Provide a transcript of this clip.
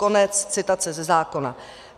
Konec citace ze zákona.